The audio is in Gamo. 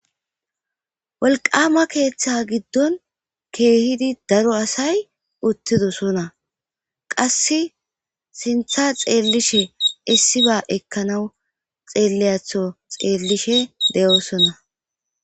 wolqama keeththa giddon keehidi daro asay uttidosona qass sintha xeellishe issiba ekkanawu xeelliyatho xeellishe de7oosonna